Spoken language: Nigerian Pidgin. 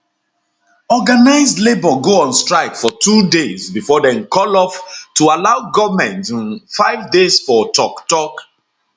organised labour go on strike for two days before dem call off to allow goment um five days for toktok